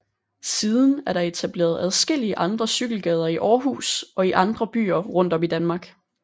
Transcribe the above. Siden er der etableret adskillige andre cykelgader i Aarhus og i andre byer rundt om i Danmark